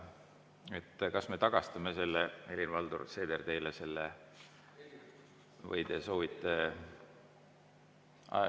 Kas me tagastame selle, Helir-Valdor Seeder, teile, või te soovite …